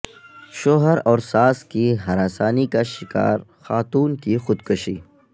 شوہر اور ساس کی ہراسانی کا شکار خاتون کی خودکشی